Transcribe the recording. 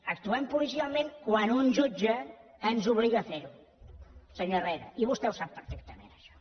actuem policialment quan un jutge ens obliga a fer ho senyor herrera i vostè ho sap perfectament això